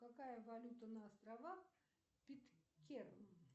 какая валюта на островах питкэрн